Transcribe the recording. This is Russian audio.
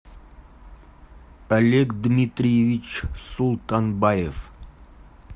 олег дмитриевич султанбаев